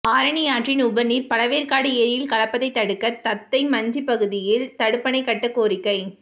ஆரணி ஆற்றின் உபரி நீா் பழவேற்காடு ஏரியில் கலப்பதை தடுக்க தத்தைமஞ்சி பகுதியில் தடுப்பணை கட்ட கோரிக்கை